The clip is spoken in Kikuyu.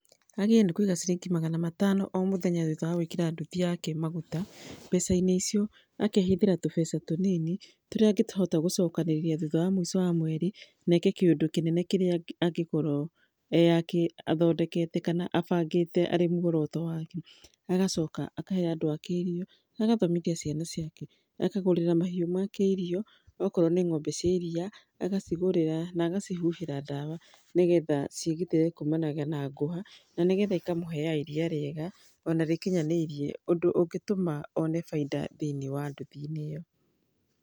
Agĩrĩire nĩ kũiga ciringi magana matano o mũthenya thutha wa gũĩkĩra nduthi yake maguta. Mbeca-inĩ icio, akeehithĩra tũbeca tũnini tũrĩa angĩhota gũcokanĩrĩria thutha wa mũico wa mweri na aĩke kĩũndũ kĩnene kĩrĩa angĩkorwo athondekete kana abangĩte, arĩ mũgũro to waaki. Agacoka akahe andũ ake irio, agathomithia ciana ciake, akagũrĩra mahiũ make irio, okorwo nĩ ng'ombe cia iria, agacigũrĩra na agacihũhĩra ndawa, nĩgetha ciĩgitĩre kuumanaga na ngũha na nĩgetha ikamũheaga iria rĩega, o na rĩkinyanĩirie ũndũ ũngĩtũma aone baida thĩinĩ wa nduthi ĩyo.